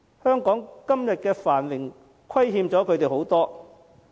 香港得享今天的繁榮，虧欠了他們很多。